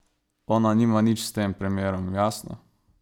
Ona nima nič s tem primerom, jasno?